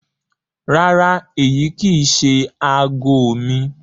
Rárá, èyi kí í ṣẹ̀ àágọ̀ mi.